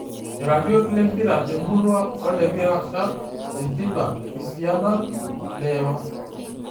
Iratiot lempira temurua olekirasha; Sintila, kisianan, Leipa